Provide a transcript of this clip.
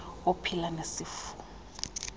ophila nesi sifo